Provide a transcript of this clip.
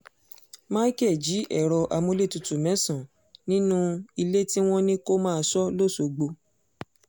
micheal jí ẹ̀rọ amúlétutù mẹ́sàn-án nínú ilé tí wọ́n ní kó máa sọ lọ́sọ̀gbó